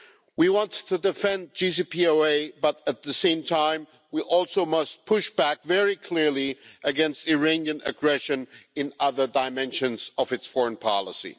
We want to defend the JCPOA but at the same time, we also must push back very clearly against Iranian aggression in other dimensions of its foreign policy.